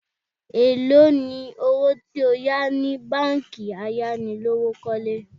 Èló ni owó tí o yà ni báńkì ayánilówókọ́lé?